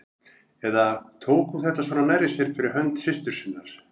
Eða tók hún þetta svona nærri sér fyrir hönd systur sinnar?